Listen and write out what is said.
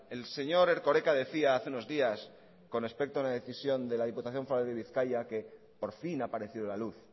el señor erkoreka decía hace unos días con respecto a una decisión de la diputación foral de bizkaia que por fin ha aparecido la luz